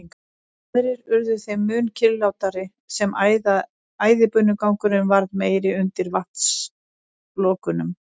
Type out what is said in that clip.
Aðrir urðu þeim mun kyrrlátari sem æðibunugangurinn varð meiri undir vatnslokunum.